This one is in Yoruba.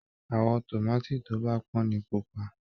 Àwọ̀ tòmáàtì tó bá pọ́n ni pupa